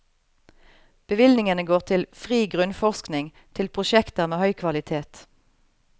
Bevilgningene går til fri grunnforskning, til prosjekter med høy kvalitet.